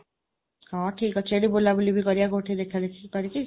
ହଁ, ଠିକ୍ ଅଛି। ଏଇଠି ବୁଲାବୁଲି ବି କରିବା କୋଉଠି ଦେଖାଦେଖି କରିକି?